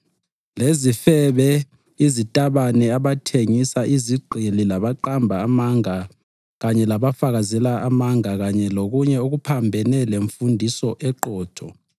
lezifebe, izitabane, abathengisa izigqili labaqamba amanga kanye labafakazela amanga kanye lokunye okuphambene lemfundiso eqotho